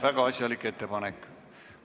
Väga asjalik ettepanek.